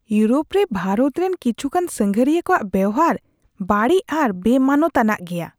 Europe ᱨᱮ ᱵᱷᱟᱨᱚᱛ ᱨᱮᱱ ᱠᱤᱪᱷᱩᱜᱟᱱ ᱥᱟᱸᱜᱷᱟᱨᱤᱭᱟᱹ ᱠᱚᱣᱟᱜ ᱵᱮᱣᱦᱟᱨ ᱵᱟᱹᱲᱤᱡ ᱟᱨ ᱵᱮᱼᱢᱟᱱᱚᱛ ᱟᱱᱟᱜ ᱜᱮᱭᱟ ᱾